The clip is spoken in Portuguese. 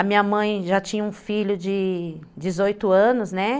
A minha mãe já tinha um filho de dezoito anos, né.